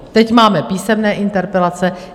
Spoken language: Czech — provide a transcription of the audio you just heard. Teď máme písemné interpelace.